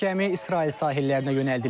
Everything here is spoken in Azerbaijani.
Gəmi İsrail sahillərinə yönəldilib.